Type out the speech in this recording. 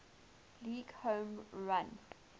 league home run